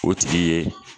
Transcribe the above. O tigi ye